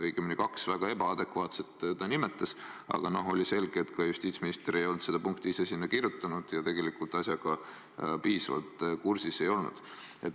Õigemini kaks väga ebaadekvaatset ta nimetas, aga oli selge, et justiitsminister ei olnud neid punkte ise sinna kirjutanud ja tegelikult asjaga piisavalt kursis ei olnud.